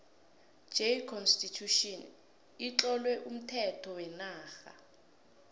j constitution itlowe umthetho wenarha